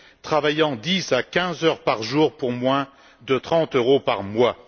travaillant 10 à 15 heures par jour pour moins de 30 euros par mois.